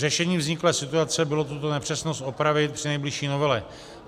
Řešením vzniklé situace bylo tuto nepřesnost opravit při nejbližší novele.